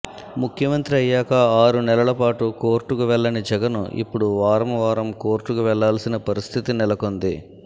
ముఖ్యమంత్రి అయ్యాక ఆరు నెలల పాటు కోర్టుకు వెళ్లని జగన్ ఇప్పుడు వారం వారం కోర్టుకు వెళ్లాల్సిన పరిస్థితి నెలకొంది